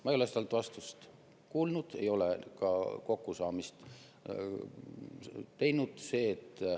Ma ei ole talt vastust kuulnud, ei ole ka kokkusaamist teinud.